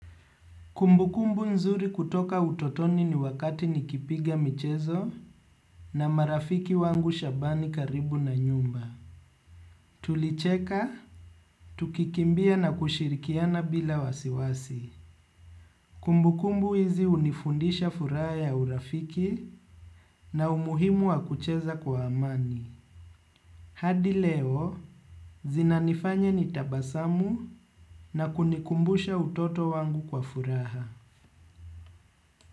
Kumbukumbu nzuri kutoka utotoni ni wakati nikipiga michezo na marafiki wangu shabani karibu na nyumba. Tulicheka, tukikimbia na kushirikiana bila wasiwasi. Kumbukumbu hizi hunifundisha furaha ya urafiki na umuhimu wa kucheza kwa amani. Hadi leo, zinanifanya nitabasamu na kunikumbusha utoto wangu kwa furaha.